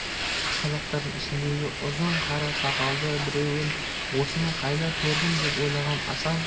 қазақтардың ішіндегі ұзын қара сақалды біреуін осыны қайда көрдім деп ойлаған асан